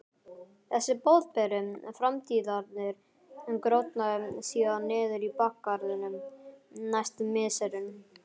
Þessi boðberi framtíðarinnar grotnaði síðan niður í bakgarðinum næstu misserin.